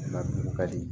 Nka dugu ka di